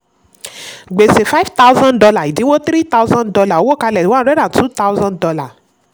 gbèsè: five thousand dollar ìdínwó: three thousand dollar owó kalẹ̀: one hundred and two thousand dollar